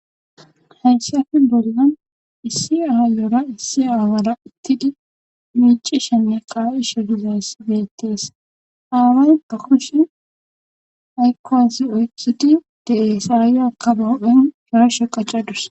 heyssafe bollan issi aayeyira issi aawara utidi miicishenne qaa7isho gizas geettees aaway gakoshe haykkoasi oythudi de7ays aay aka bahophen shorashe qaccadus